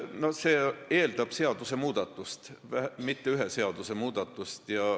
No see eeldab seaduse muutmist, ja mitte ühe seaduse muutmist.